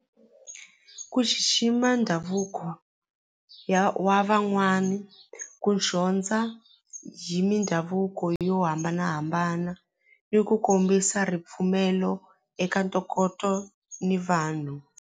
Ku xixima ndhavuko ya wa van'wani ku dyondza hi mindhavuko yo hambanahambana ni ku kombisa ripfumelo eka ntokoto ni vanhu.